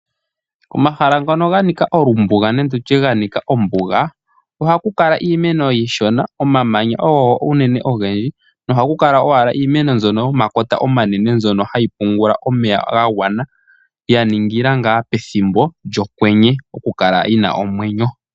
Omahala ngoka ganika olumbuga nenge tutye ganika ombuga ohaku kala iimeno iishona omamanya ogo uunene ogendji nohaku kala iimeno mbyono yomakota omanene mbyono hayi pungula omeya ga gwana yaningila ngaa pethimbo lyokwenye opo yikale yina omwenyo.